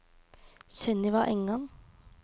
Sunniva Engan